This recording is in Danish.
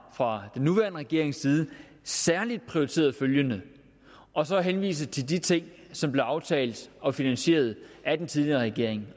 fra den nuværende regerings side særligt har prioriteret følgende og så henvise til de ting som blev aftalt og finansieret af den tidligere regering